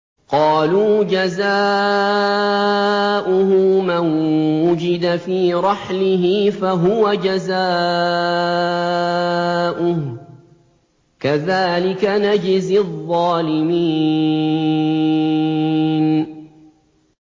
قَالُوا جَزَاؤُهُ مَن وُجِدَ فِي رَحْلِهِ فَهُوَ جَزَاؤُهُ ۚ كَذَٰلِكَ نَجْزِي الظَّالِمِينَ